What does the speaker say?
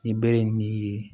Nin bɛ ye